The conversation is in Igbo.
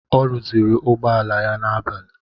Ọ rụzịrị ụgbọala ya n'abali.